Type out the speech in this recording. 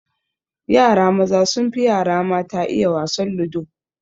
Yara maza sun fi yara mata iya wasan ludo